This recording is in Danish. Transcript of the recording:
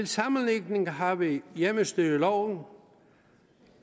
sammenligning har vi hjemmestyreloven